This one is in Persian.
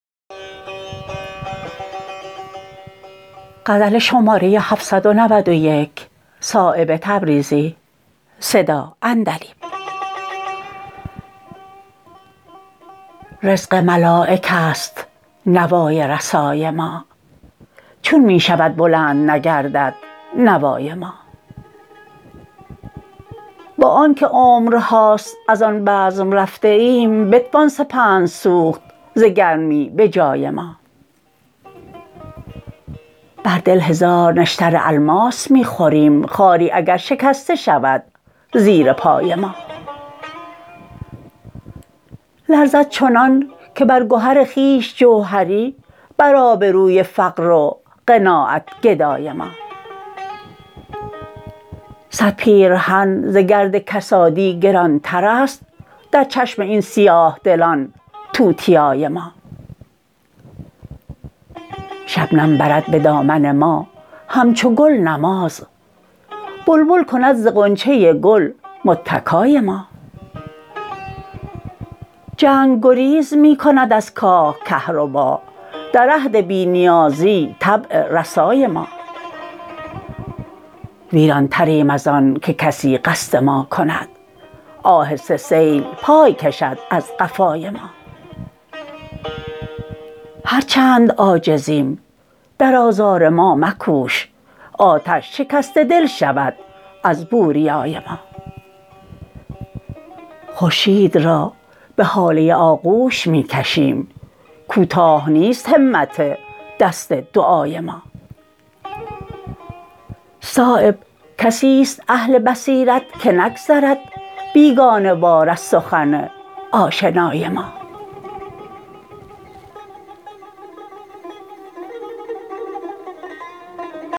رزق ملایک است نوای رسای ما چون می شود بلند نگردد نوای ما با آن که عمرهاست ازان بزم رفته ایم بتوان سپند سوخت ز گرمی به جای ما بر دل هزار نشتر الماس می خوریم خاری اگر شکسته شود زیر پای ما لرزد چنان که بر گهر خویش جوهری بر آبروی فقر و قناعت گدای ما صد پیرهن ز گرد کسادی گرانترست در چشم این سیاه دلان توتیای ما شبنم برد به دامن ما همچو گل نماز بلبل کند ز غنچه گل متکای ما جنگ گریز می کند از کاه کهربا در عهد بی نیازی طبع رسای ما ویرانتریم ازان که کسی قصد ما کند آهسته سیل پای کشد از قفای ما هر چند عاجزیم در آزار ما مکوش آتش شکسته دل شود از بوریای ما خورشید را به هاله آغوش می کشیم کوتاه نیست همت دست دعای ما صایب کسی است اهل بصیرت که نگذرد بیگانه وار از سخن آشنای ما